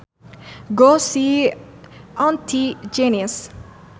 Go see auntie Janice